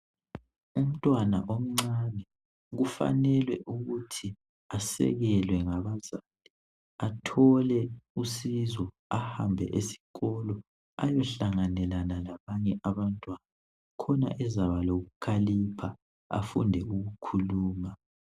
Umntwana omncane kufanele ukuthi asekelwe ngabazali athole usizo ahambe esikolo ayohlanganela labanye abantwana khona ezaba lokukhalipha afunde ukukhuluma.